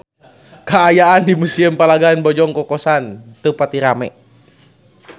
Kaayaan di Museum Palagan Bojong Kokosan teu pati rame